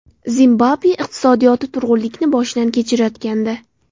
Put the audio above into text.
Zimbabve iqtisodiyoti turg‘unlikni boshidan kechirayotgandi.